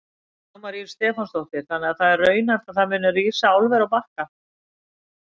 Dagmar Ýr Stefánsdóttir: Þannig að það er raunhæft að það muni rísa álver á Bakka?